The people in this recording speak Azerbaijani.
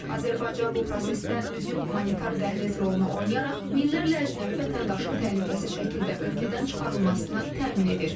Azərbaycan bu prosesdə mühüm humanitar dəhliz rolunu oynayaraq minlərlə əcnəbi vətəndaşın təhlükəsiz şəkildə ölkədən çıxarılmasını təmin edir.